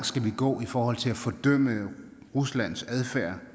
skal gå i forhold til at fordømme ruslands adfærd